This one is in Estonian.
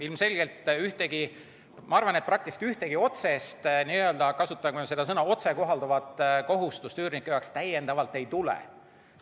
Ilmselgelt ühtegi otsest ehk ma kasutan nüüd sellist sõna nagu "otsekohalduvat" kohustust üürnike jaoks täiendavalt ei tule.